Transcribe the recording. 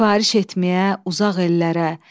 Sifariş etməyə uzaq ellərə,